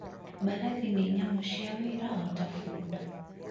Mbarathi nĩ nyamũ cia wĩra o ta bunda.